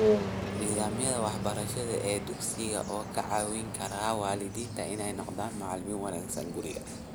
Nidaamyada waxbarasho ee dugsiga, oo ka caawin kara waalidiinta inay noqdaan "macalimiin" wanaagsan guriga.